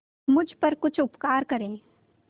मुझ पर कुछ उपकार करें